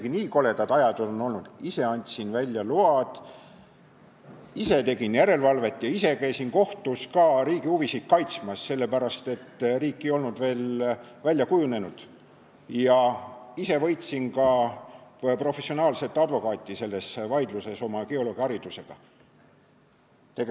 Ja isegi nii koledad ajad on olnud, et ma ise andsin välja lube, ise tegin järelevalvet ja ise käisin kohtus riigi huvisid kaitsmas, sest riik ei olnud veel välja kujunenud, ja ise oma geoloogiharidusega võitsin selles vaidluses professionaalset advokaati.